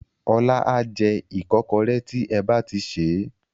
Ọlá a jẹ ìkọ́kọrẹ́ tí ẹ ba ti sè é.